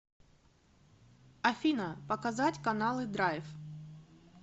афина показать каналы драйв